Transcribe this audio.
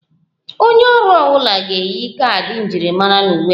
Onye ọrụ ọ bụla ga-eyi kaadị njirimara na uwe ha